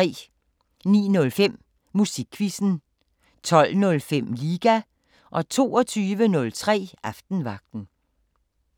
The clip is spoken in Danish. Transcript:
09:05: Musikquizzen 12:05: Liga 22:03: Aftenvagten